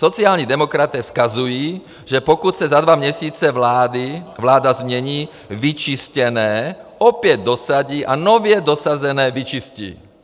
Sociální demokraté vzkazují, že pokud se za dva měsíce vláda změní, vyčištěné opět dosadí a nově dosazené vyčistí.